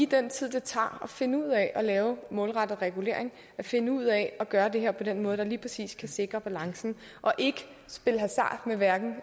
den tid det tager at finde ud af at lave målrettet regulering og finde ud af at gøre det her på den måde der lige præcis kan sikre balancen og ikke spiller hasard hverken